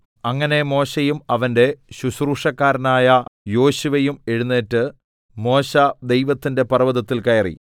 അങ്ങനെ മോശെയും അവന്റെ ശുശ്രൂഷക്കാരനായ യോശുവയും എഴുന്നേറ്റ് മോശെ ദൈവത്തിന്റെ പർവ്വതത്തിൽ കയറി